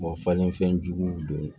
falenfɛn juguw don